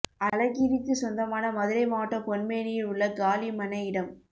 அழகிரிக்கு சொந்தமான மதுரை மாவட்டம் பொன்மேணியில் உள்ள காலி மனை இடம்